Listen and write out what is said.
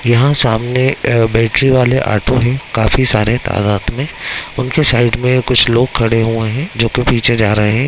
यहाँ सामने अ बैटरी वाले ऑटो हैं काफी सारे तादाद में | उनके साइड में कुछ लोग खड़े हैं जो की पीछे जा रहे हैं।